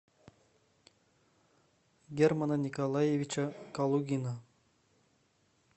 германа николаевича калугина